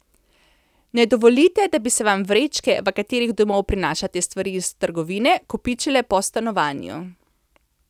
Ne dovolite da bi se vam vrečke, v katerih domov prinašate stvari iz trgovine, kopičile po stanovanju.